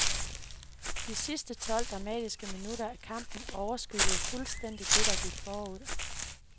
De sidste tolv dramatiske minutter af kampen overskyggede fuldstændigt det, der gik forud.